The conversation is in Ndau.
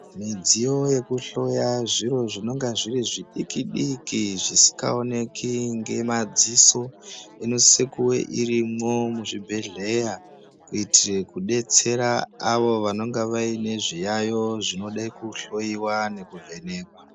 Midziyo yekuhloya zviro zvinenge zviri chidiki diki zvisingaoneki nemadziso inosisa kunge irimo muzvibhedhlera kuitira kudetsera avo vanenge vane zviyayo zvinoda kuhloya nekuvhenekwa.